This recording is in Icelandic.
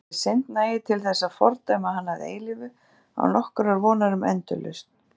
Þessi synd nægir til þess að fordæma hana að eilífu án nokkurrar vonar um endurlausn.